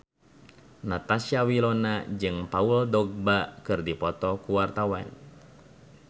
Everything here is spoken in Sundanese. Natasha Wilona jeung Paul Dogba keur dipoto ku wartawan